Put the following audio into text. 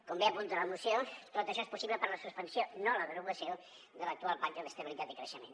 com bé apunta la moció tot això és possible per la suspensió no la derogació de l’actual pacte d’estabilitat i creixement